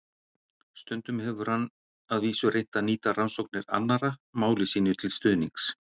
Stundum hefur hann að vísu reynt að nýta rannsóknir annarra máli sínu til stuðnings.